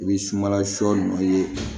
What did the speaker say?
I bɛ sumala sɔ nɔ ye